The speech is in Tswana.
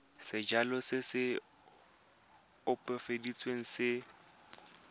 sejalo se se opafaditsweng se